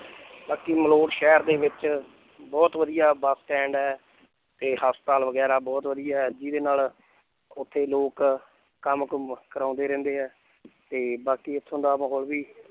ਬਾਕੀ ਮਲੌਟ ਸ਼ਹਿਰ ਦੇ ਵਿੱਚ ਬਹੁਤ ਵਧੀਆ ਬਸ ਸਟੈਂਡ ਹੈ ਤੇ ਹਸਪਤਾਲ ਵਗ਼ੈਰਾ ਬਹੁਤ ਵਧੀਆ ਹੈ ਜਿਹਦੇ ਨਾਲ ਉੱਥੇ ਲੋਕ ਕੰਮ ਕੁੰਮ ਕਰਾਉਂਦੇ ਰਹਿੰਦੇ ਹੈ ਤੇ ਬਾਕੀ ਇੱਥੋਂ ਦਾ ਮਾਹੌਲ ਵੀ